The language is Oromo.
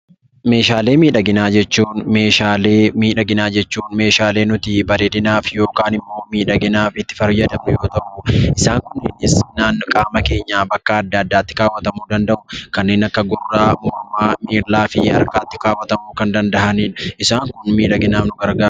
Meeshaalee miidhaginaa jechuun meeshaalee nuti miidhaginaaf yookaan immoo miidhaginaaf itti fayyadamnu yoo ta'u, isaan kun naannoo qaama keenyaa bakkee addaa addaatti kaawwatamuu danda'u kanneen akka gurraa, mormaa miilaa fi harkatti kaawwamuu kan danda'an isaan kun miidhaginaaf nu gargaaru.